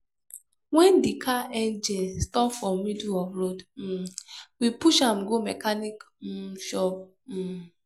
wen di car engine stop for middle of road um we push am go mechanic um shop. um